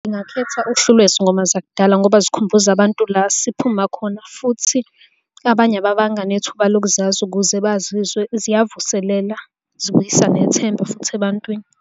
Ngingakhetha uhlu lwezingoma zakudala ngoba zikhumbuza abantu la siphuma khona, futhi abanye ababanga nethuba lokuzazi ukuze bazizwe, ziyavuselela zibuyisa nethemba futhi ebantwini.